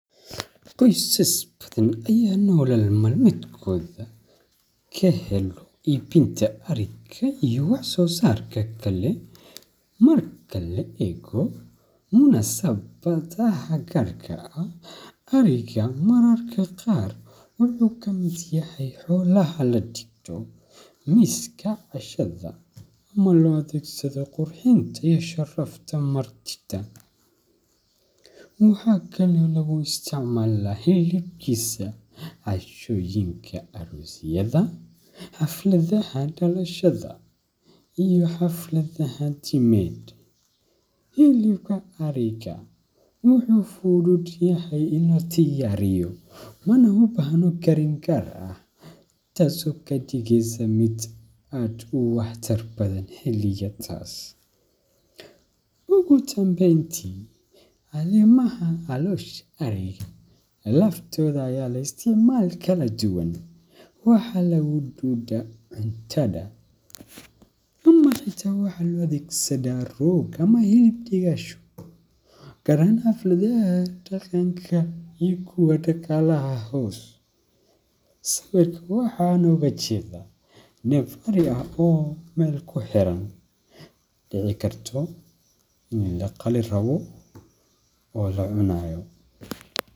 Qosas bathan Aya nolol malmetkotha kahelih ibin tavarika iyo wax sosarka, Kali markali munasabtha karga aah ariga mararga qaar waxy kameer yahay xola lagatoh miskabcashada qurxinta hsarafta martitha . Maxakali oo lagu isticmalah cashoyinga aroosyada xafalatha dalshada iyo xafaladha timit helibka ariga waxy fuuthutahay ini ladiyariyoh mana ubahano Karin kaar aah taaso kadigeeysoh mid aad u waxtar bathan xeligan iyo taas, ugudambeyti calsosha ariga laftotha aya isticamala kaladuuwan wax lagaduda cuntaha dumarka waxat u athesadan hooga amah basal Gaar ahaan xafaladha daqanga kuwa daqalaha hoos wax UGA jeedah nafka ariga oo meel kuxeran oo deci kartoh ini laqali raboh oo lacunayoh.